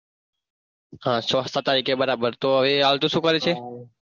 હા છ સાત તારીખે બરાબર તો હવે આવતો શુક્રવાર છે?